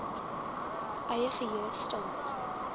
eie geheue staat